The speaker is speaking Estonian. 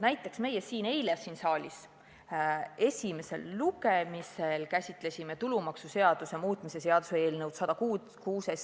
Näiteks eile me käsitlesime siin saalis esimesel lugemisel tulumaksuseaduse muutmise seaduse eelnõu 106.